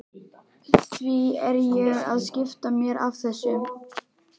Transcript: Því er ég að skipta mér af þessu?